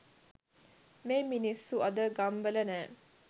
මේ මිනිස්සු අද ගම්වල නෑ.